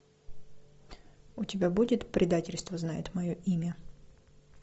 у тебя будет предательство знает мое имя